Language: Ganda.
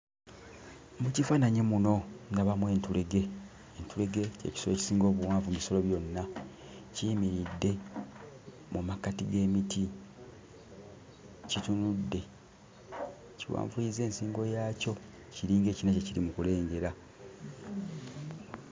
Mu kifaananyi muno ndabamu entulege. Entulege ky'ekisolo ekisinga obuwanvu mu bisolo byonna. Kiyimiridde mu makkati g'emiti, kitunudde, kiwanvuyizza ensingo yaakyo kiringa ekirina kye kiri mu kulengera.